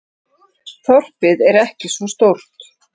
Þorpið er ekki svo stórt.